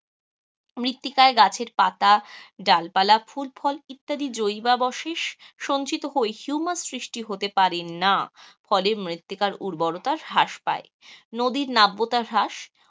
মৃত্তিকায় গাছের পাতা ডাল পালা ফুল ফল ইত্যাদি জৈববশেস সঞ্চিত হয়ে হিউমাস সৃষ্টি হতে পারে না, ফলে মৃত্তিকার উর্বরতা হ্রাস পায়, নদীর নাব্যতা হ্রাস,